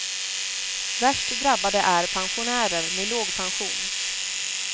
Värst drabbade är pensionärer med låg pension.